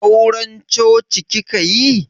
Auran coci kika yi?